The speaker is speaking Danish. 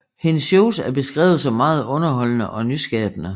Hendes shows er beskrevet som meget underholdende og nyskabende